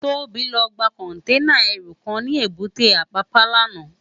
Tobi lò gbá kònténá èrú kán ni ébùté Apapa làná